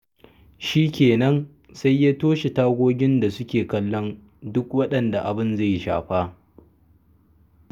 Shi kenan, sai ya toshe tagogin da suke kallon waɗanda abin zai shafa.